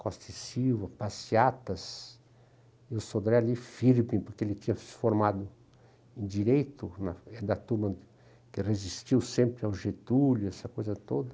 Costa e Silva, Passeatas, e o Sodré ali, firme, porque ele tinha se formado em Direito, da turma que resistiu sempre ao Getúlio, essa coisa toda.